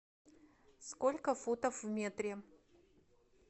сколько футов в метре